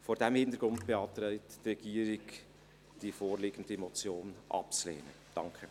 Vor diesem Hintergrund beantragt die Regierung, die vorliegende Motion abzulehnen.